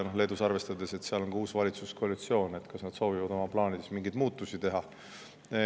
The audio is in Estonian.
Leedult, arvestades, et seal on uus valitsuskoalitsioon, kas nad soovivad oma plaanides mingeid muudatusi teha.